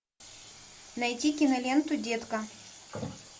найти киноленту детка